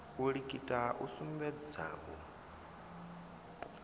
u likita u sukumedza u